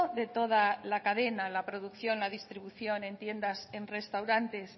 de toda la cadena la producción la distribución en tiendas en restaurantes